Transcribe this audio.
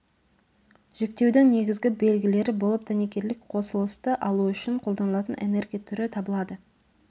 жіктеудің негізгі белгілері болып дәнекерлік қосылысты алу үшін қолданылатын энергия түрі табылады